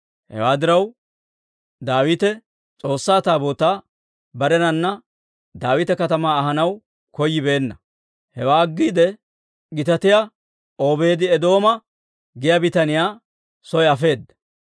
Hewaa diraw, Daawite S'oossaa Taabootaa barenana Daawita Katamaa ahanaw koyyibeenna; hewaa aggiide Gitaatiyaa Obeedi-Eedooma giyaa bitaniyaa soo afeedda.